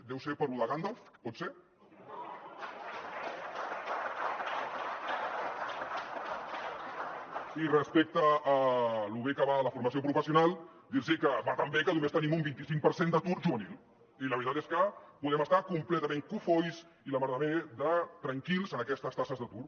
deu ser per lo de gandalf pot ser i respecte a lo bé que va la formació professional dir los que va tan bé que només tenim un vint cinc per cent d’atur juvenil i la veritat és que podem estar completament cofois i la mar de tranquils amb aquestes taxes d’atur